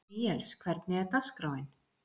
Níels, hvernig er dagskráin?